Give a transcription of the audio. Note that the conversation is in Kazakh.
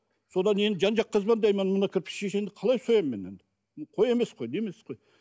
содан енді жан жаққа звондаймын мына кірпішешенді қалай соямын мен енді қой емес не емес қой